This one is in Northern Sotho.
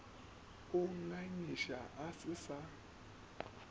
a ngangega a se sa